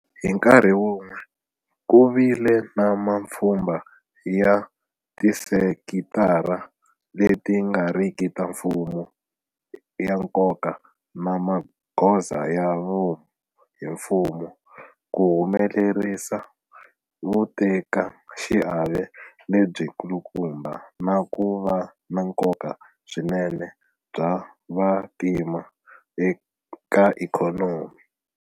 Hi nkarhi wun'we, ku vile na mapfhumba ya tisekitara leti nga riki ta mfumo ya nkoka na magoza ya vomu hi mfumo ku humelerisa vutekaxiave lebyikulukumba na ku va na nkoka swinene bya vantima eka ikhonomi.